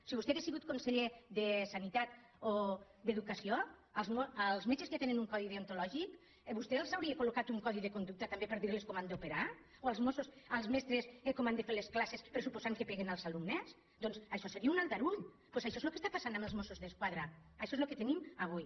si vostè hagués sigut conseller de sanitat o d’educació als metges que ja tenen un codi deontològic vostè els hauria col·locat un codi de conduc·ta també per dir·los com han d’operar o als mestres com han de fer les classes pressuposant que peguen als alumnes doncs això seria un aldarull doncs això és el que està passant amb els mossos d’esquadra això és el que tenim avui